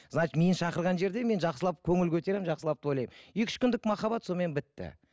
значит мені шақырған жерде мен жақсылап көңіл көтеремін жақсылап тойлаймын екі үш күндік махаббат сонымен бітті